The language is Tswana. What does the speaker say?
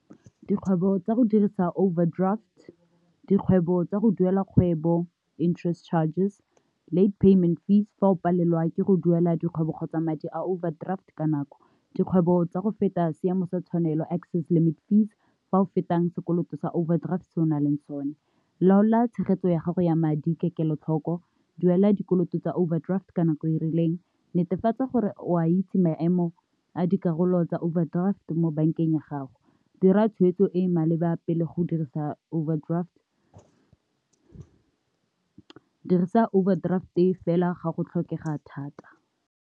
Dikgwebo tsa go dirisa overdraft, dikgwebo tsa go duela kgwebo interest charges, late payment fees fa o palelwa ke go duela dikgwebo kgotsa madi a overdraft ka nako, dikgwebo tsa go feta seemo sa tshwanelo access limit fees fa o fetang sekoloto sa overdraft se o nang leng sone. Laola tshegetso ya gago ya madi ka kelotlhoko, duela dikoloto tsa overdraft ka nako e rileng, netefatsa gore o a itse maemo a dikarolo tsa overdraft mo bank-eng ya gago, dira tshweetso e e maleba pele go dirisa overdraft, dirisa overdraft-e fela ga go tlhokega thata.